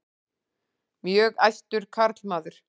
Mjög æstur karlmaður.